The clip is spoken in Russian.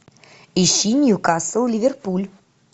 ищи ньюкасл ливерпуль